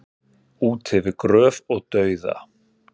Út yfir gröf og dauða